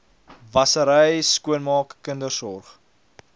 wassery skoonmaak kindersorg